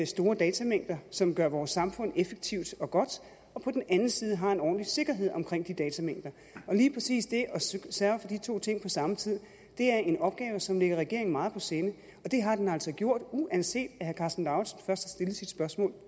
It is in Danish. store datamængder som gør vores samfund effektivt og godt og på den anden side har en ordentlig sikkerhed omkring de datamængder og lige præcis det at sørge for de to ting på samme tid er en opgave som ligger regeringen meget på sinde og det har den altså gjort uanset at herre karsten lauritzen først har stillet sit spørgsmål